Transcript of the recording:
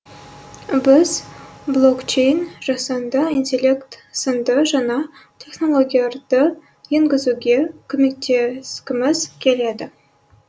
біз блокчейн жасанды интеллект сынды жаңа технологияларды енгізуге көмектескіміз келеді